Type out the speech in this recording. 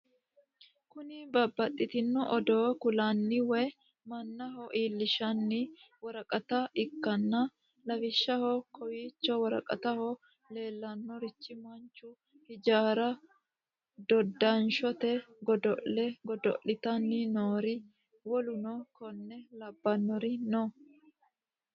Kuni babaxitinno odoo kullanni woy mannaho iilinshshanni woraqata ikkanna, lawishshaho kowicho woraqataho leellannorino manchu, hijaarra, dodanshote godo'le godo'litanni noori wolluno konne labbannor no.